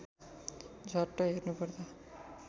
झ्वाट्ट हेर्नुपर्दा